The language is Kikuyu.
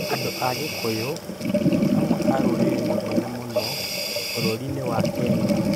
Andũ a Kikuyu nĩ amwe a rũrĩrĩ rũnene mũno bũrũri-inĩ wa Kenya.